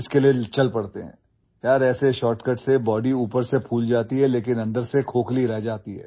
Friend, with such shortcuts the body swells from outside but remains hollow from inside